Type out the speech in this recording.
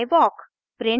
i walk